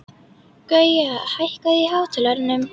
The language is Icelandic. Gauja, hækkaðu í hátalaranum.